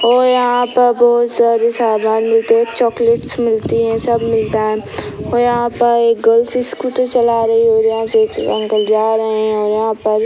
और यहाँ पर बहुत सारी सामन मिलते हैं चॉकलेट्स मिलती है सब मिलता है और यहाँ पर गर्ल्स स्कूटी चला रही है और यहाँ देख रहे हैं अंकल जा रहे हैं और यहाँ पर --